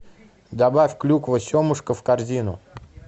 добавь клюква семушка в корзину